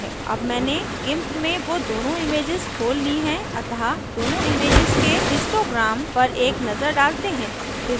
अब मैंने gimp में वे दोनों images खोल ली हैं अतः दोनों images के histogram पर एक नजर डालते हैं